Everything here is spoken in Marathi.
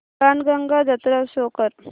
बाणगंगा जत्रा शो कर